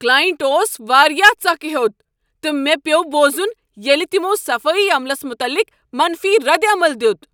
Client اوس واریاہ ژکھِ ہوٚت تہٕ مےٚ پیوٚو بوزن ییٚلہ تمو صفٲیی عملس متعلق منفی ردعمل دیت۔